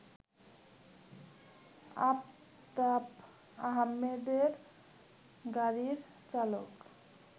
আফতাব আহমেদের গাড়ির চালক